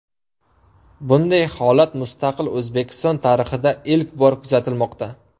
Bunday holat mustaqil O‘zbekiston tarixida ilk bor kuzatilmoqda.